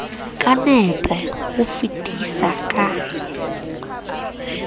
ka nepo ho fetisa ka